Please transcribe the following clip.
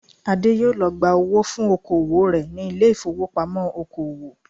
Adé yóò lọ gba owó fún oko òwò rẹ̀ ní ilé ìfowópamọ́ oko òwò